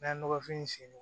N'an ye nɔgɔfin